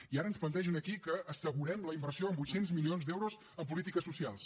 i ara ens plantegen aquí que assegurem la inversió de vuit cents milions d’euros en polítiques socials